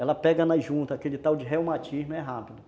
Ela pega na junta aquele tal de reumatismo, é rápido.